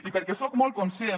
i perquè soc molt conscient